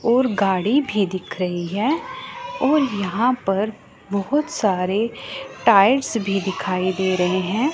और गाड़ी भी दिख रही है और यहां पर बहोत सारे टाइल्स भी दिखाई दे रहे हैं।